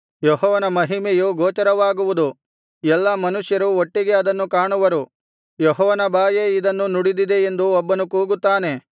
ಯೆಹೋವನ ಮಹಿಮೆಯು ಗೋಚರವಾಗುವುದು ಎಲ್ಲಾ ಮನುಷ್ಯರೂ ಒಟ್ಟಿಗೆ ಅದನ್ನು ಕಾಣುವರು ಯೆಹೋವನ ಬಾಯೇ ಇದನ್ನು ನುಡಿದಿದೆ ಎಂದು ಒಬ್ಬನು ಕೂಗುತ್ತಾನೆ